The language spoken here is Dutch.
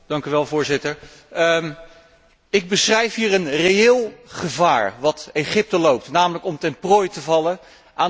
Ik beschrijf hier een reëel gevaar dat Egypte loopt, namelijk om ten prooi te vallen aan de islamitische moslimbroeders.